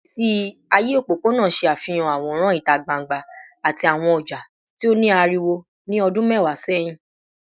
Igbesi aye opopona ṣe afihan aworan ita gbangba ati awọn ọja ti o ni ariwo ni ọdun mẹwa sẹhin